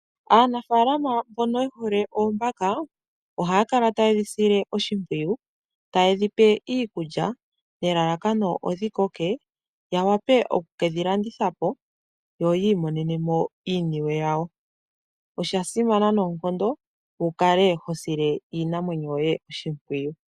Aanafalama mbono yehole oombaka ohaya kala taye dhi sile oshimpwiyu, taye dhi pe iikulya nelalakano odhi koke ya wape okukedhi landithapo yo oyi imonenemo iiniwe yawo. Osha simana noonkondo wu kale ho sile iinamwenyo yoye oshimpwiyu.